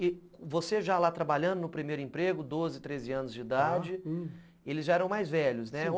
E você já lá trabalhando no primeiro emprego, doze, treze anos de idade, já, eles já eram mais velhos, né? sim.